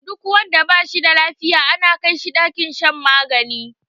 Duk wanda bashi da lafiya ana kai shi ɗakin shan magani